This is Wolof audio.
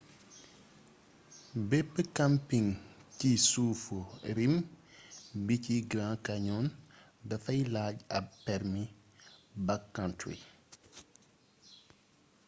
bepp camping ci suufu rim bi ci grand canyon dafay laaj ab permi backcountry